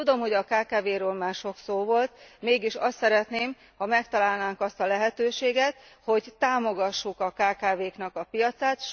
Tudom, hogy a kkv król már sok szó volt, mégis azt szeretném, ha megtalálnánk azt a lehetőséget, hogy támogassuk a kkv knak a piacát.